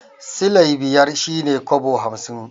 Silai biyar shi ne kobo hamsin.